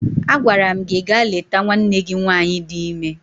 Agwara m gi gaa leta nwanne gi nwaanyị di ime!